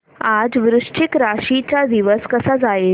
आज वृश्चिक राशी चा दिवस कसा जाईल